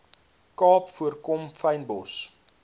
kaap voorkom fynbos